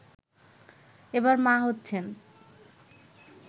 এবার মা হচ্ছেন